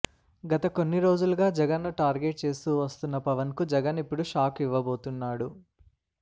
గత కొన్ని రోజులుగా జగన్ ను టార్గెట్ చేస్తూ వస్తున్న పవన్ కు జగన్ ఇప్పుడు షాక్ ఇవ్వబోతున్నాడు